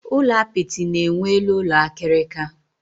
Ulo apịtị na enwe elu ụlọ akirika